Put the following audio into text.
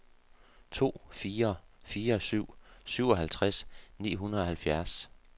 to fire fire syv syvoghalvtreds ni hundrede og halvfjerds